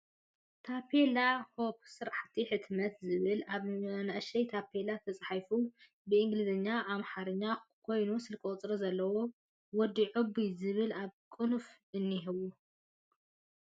ታፔላ ናይ ሆፕ ስራሕቲ ሕትመት ዝብል ኣብ ንእሽተይ ታፔላ ተፃሒፋ ብእንግሊዥን ኣምሓረኛ ን ኮይና ስልኪ ቁፅሪ ዘለዋ ወዲ ዑቡይ ዝብል ኣብ ቅንፍ እኒሄዋ።